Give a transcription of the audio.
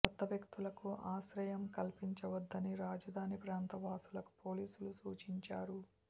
కొత్త వ్యక్తులకు ఆశ్రయం కల్పించవద్దని రాజధాని ప్రాంత వాసులకు పోలీసులు సూచించారు